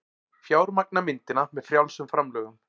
Fjármagna myndina með frjálsum framlögum